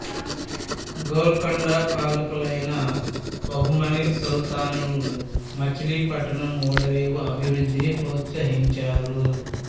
గోల్కొండ పాలకులైన బహమనీ సుల్తానులు మచిలీపట్నం ఓడరేవు అభివృద్ధిని ప్రోత్సహించారు